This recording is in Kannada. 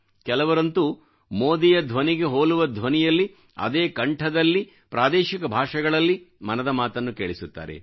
ಕೆಲವರಂತೂ ಮೋದಿಯ ಧ್ವನಿಗೆ ಹೋಲುವ ಧ್ವನಿಯಲ್ಲಿ ಅದೇ ಕಂಠದಲ್ಲಿ ಪ್ರಾದೇಶಿಕ ಭಾಷೆಗಳಲ್ಲಿ ಮನದ ಮಾತನ್ನು ಕೇಳಿಸುತ್ತಾರೆ